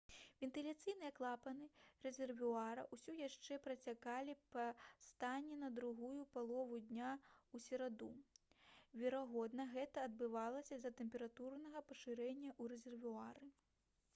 вентыляцыйныя клапаны рэзервуара ўсё яшчэ працякалі па стане на другую палову дня ў сераду верагодна гэта адбывалася з-за тэмпературнага пашырэння ў рэзервуары